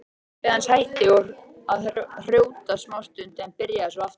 Pabbi hans hætti að hrjóta smástund en byrjaði svo aftur.